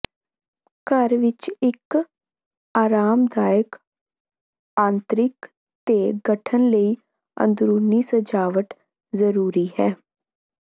ਘਰ ਵਿੱਚ ਇੱਕ ਆਰਾਮਦਾਇਕ ਆਂਤਰਿਕ ਦੇ ਗਠਨ ਲਈ ਅੰਦਰੂਨੀ ਸਜਾਵਟ ਜ਼ਰੂਰੀ ਹੈ